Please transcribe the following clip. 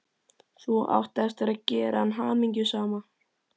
Þú átt eftir að gera hana hamingjusama.